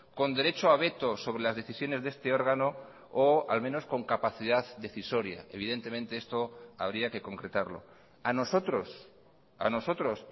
con derecho a veto sobre las decisiones de este órgano o al menos con capacidad decisoria evidentemente esto habría que concretarlo a nosotros a nosotros